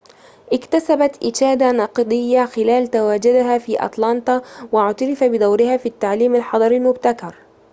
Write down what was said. اكتسبت إشادة نقدية خلال تواجدها في أتلانتا واعتُرف بدورها في التعليم الحضري المبتكر